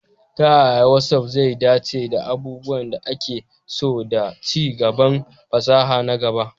Ta yaya WhatsApp zai dace da abubuwan da ake so da ci gaban fasaha na gaba?